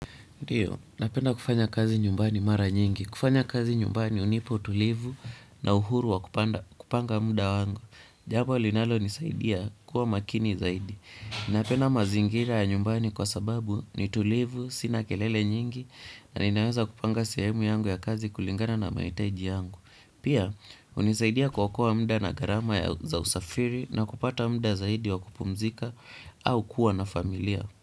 Ndiyo, napenda kufanya kazi nyumbani mara nyingi. Kufanya kazi nyumbani unipa utulivu na uhuru wa kupanga muda wangu. Kufanya kazi nyumbani unipo tulivu na uhuru wa kupanga muda wangu. Napenda mazingira ya nyumbani kwa sababu ni tulivu sina kelele nyingi na ninaweza kupanga sehemu yangu ya kazi kulingana na mahitaji yangu. Pia, hunisaidia kuokoa muda na gharama ya za usafiri na kupata muda zaidi wa kupumzika au kuwa na familia.